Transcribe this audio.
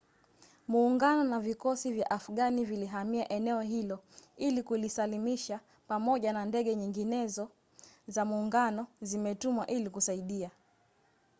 muungano na vikosi vya afghani vilihamia eneo hilo ili kulisalimisha pamoja na ndege nyingine za muungano zimetumwa ili kusaidia